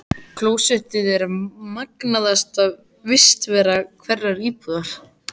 Klósettið er magnaðasta vistarvera hverrar íbúðar.